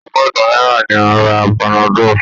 Ọgọ́ta náírà ni a ra panadol.